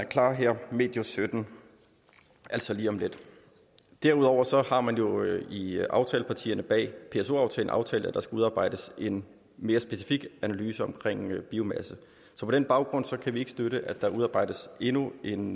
klar her medio sytten altså lige om lidt derudover har man jo i aftalepartierne bag pso aftalen aftalt at der skal udarbejdes en mere specifik analyse om biomasse på den baggrund kan vi ikke støtte at der udarbejdes endnu en